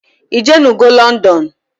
Ijenugo London?